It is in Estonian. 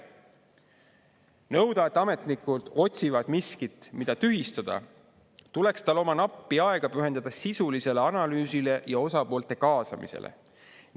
nõuda, et ametnikud otsivad miskit, mida tühistada, tuleks neil oma nappi aega pühendada sisulisele analüüsile ja osapoolte kaasamisele.